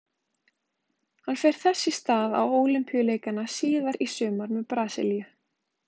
Hann fer þess í stað á Ólympíuleikana síðar í sumar með Brasilíu.